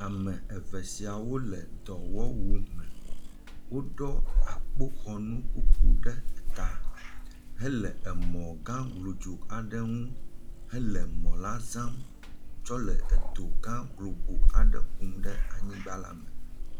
Ame eve sia wole dɔwɔwu me. Woɖɔ akpoxɔnukuku ɖe ta hele emɔ gã glodzo aɖe ŋu hele emɔ la zam tsɔ le edo gã globo aɖe kum ɖe anyigba la me.